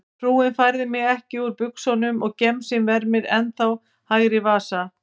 Frúin færði mig ekki úr buxunum og gemsinn vermir ennþá hægri vasa.